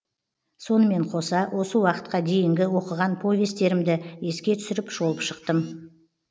сонымен қоса осы уақытқа дейінгі оқыған повесттерімді еске түсіріп шолып шықтым